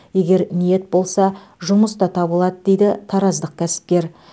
егер ниет болса жұмыс та табылады дейді тараздық кәсіпкер